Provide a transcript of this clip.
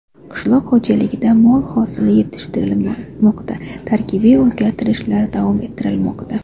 Qishloq xo‘jaligida mo‘l hosil yetishtirilmoqda, tarkibiy o‘zgartirishlar davom ettirilmoqda.